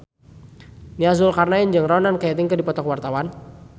Nia Zulkarnaen jeung Ronan Keating keur dipoto ku wartawan